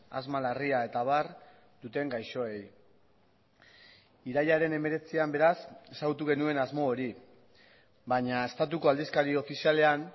asma larria eta abar duten gaixoei irailaren hemeretzian beraz ezagutu genuen asmo hori baina estatuko aldizkari ofizialean